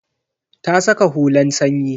Ta saka hulan sanyi.